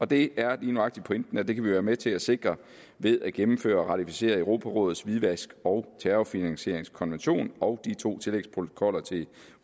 det er lige nøjagtig pointen at det kan vi være med til at sikre ved at gennemføre og ratificere europarådets hvidvask og terrorfinansieringskonvention og de to tillægsprotokoller til